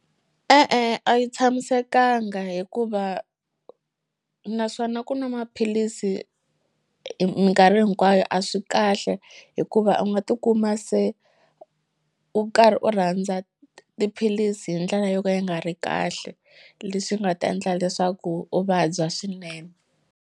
E-e a yi tshamisekanga hikuva naswona ku nwa maphilisi minkarhi hinkwayo a swi kahle hikuva u nga tikuma se u karhi u rhandza tiphilisi hi ndlela yo ka yi nga ri kahle leswi nga ta endla leswaku u vabya swinene.